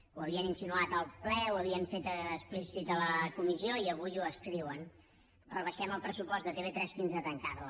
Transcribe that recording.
ho havien insinuat al ple ho havien fet explícit a la comissió i avui ho escriuen rebaixem el pressupost de tv3 fins a tancar la